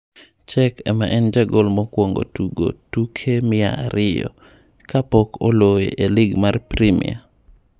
Cech ema en jagol mokwongo tugo tuke mia ariyo ka pok oloye e lig mar primia.